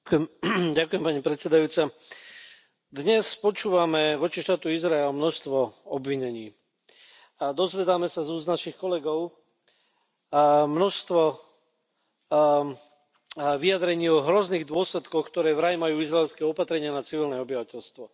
Vážená pani predsedajúca, dnes počúvame voči štátu Izrael množstvo obvinení a dozvedáme sa z úst našich kolegov a množstvo vyjadrení o hrozných dôsledkoch, ktoré vraj majú izraelské opatrenia na civilné obyvateľstvo.